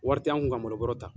Wari tɛ an kun ka malo bɔrɔ ta.